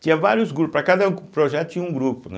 Tinha vários grupos, para cada projeto tinha um grupo, né.